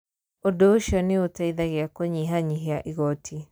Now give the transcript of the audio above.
Ũndũ ũcio nĩ ũteithagia kũnyihanyihia igooti.